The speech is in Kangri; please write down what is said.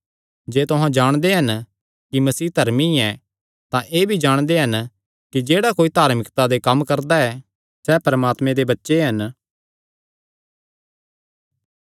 जे तुहां जाणदे हन कि मसीह धर्मी ऐ तां एह़ भी जाणदे हन कि जेह्ड़ा कोई धार्मिकता दे कम्म करदा ऐ सैह़ परमात्मे दे बच्चे हन